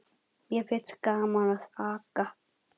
Mér finnst gaman að aka.